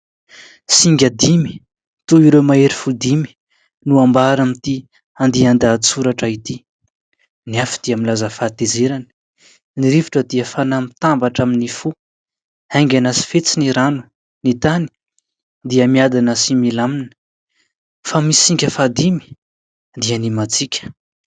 Singa dimy toy ireo mahery fo dimy no ambara amin'ity andian-dahatsoratra ity. Ny afo dia milaza fahatezerana, ny rivotra dia fanahy mitambatra amin'ny fo, haingana sy fetsy ny rano, ny tany dia miadana sy milamina fa misy singa fahadimy dia ny matsika.